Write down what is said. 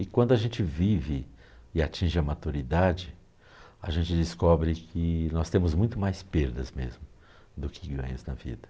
E quando a gente vive e atinge a maturidade, a gente descobre que nós temos muito mais perdas mesmo do que ganhos na vida.